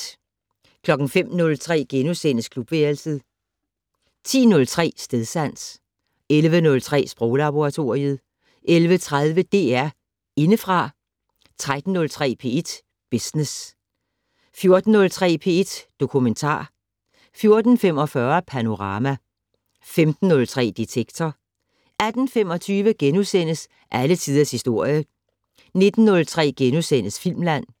05:03: Klubværelset * 10:03: Stedsans 11:03: Sproglaboratoriet 11:30: DR Indefra 13:03: P1 Business 14:03: P1 Dokumentar 14:45: Panorama 15:03: Detektor 18:25: Alle tiders historie * 19:03: Filmland *